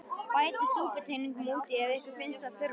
Bætið súputeningi út í ef ykkur finnst þurfa.